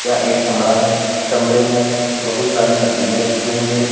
एक कमरा है कमरे में बहुत सारी मशीने रखी हुई है।